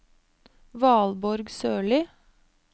Valborg Sørlie